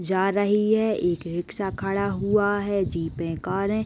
जा रही है। एक रिक्शा खड़ा हुआ है जीपें कारे --